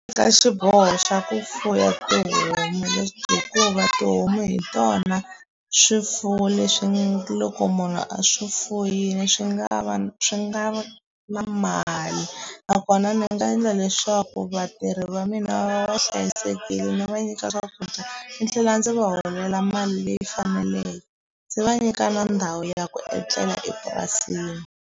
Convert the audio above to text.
Ka xiboho xa ku fuya tihomu hikuva tihomu hi tona swifuwo leswi loko munhu a swi fuyini swi nga va swi nga na mali nakona ni nga endla leswaku vatirhi va mina va va hlayisekile ni va nyika swakudya ni tlhela ndzi va holela mali leyi faneleke ndzi va nyika na ndhawu ya ku etlela epurasini.